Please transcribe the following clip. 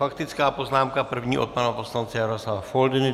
Faktická poznámka - první od pana poslance Jaroslava Foldyny.